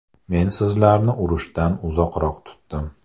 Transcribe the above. Men sizlarni urushdan uzoqroq tutdim.